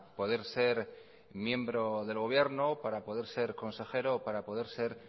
poder ser miembro del gobierno para poder ser consejero o para poder ser